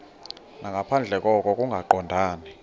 nangaphandle koko kungaqondani